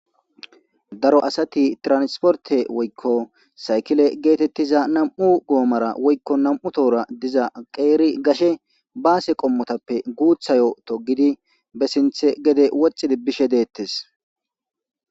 daro asati transporte woykko saykile geetettiza nam7u goomara woykko nam7u tohora diza qeeri gashe baase qommotappe guuthayo to gidi be sinthe gede woxxidi bishe deettes